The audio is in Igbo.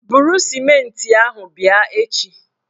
Buru sịmentị ahụ bịa echi!